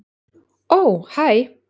Ó hæ.